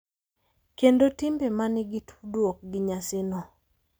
Kendo timbe ma nigi tudruok gi nyasino.